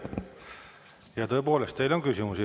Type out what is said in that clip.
Ja tõepoolest, teile on küsimusi.